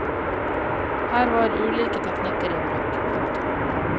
Her var ulike teknikker i bruk. punktum